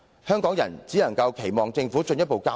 香港人只有期望政府作進一步交代。